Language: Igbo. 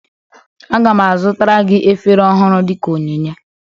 Aga m azụtara gị efere ọhụrụ dị ka onyinye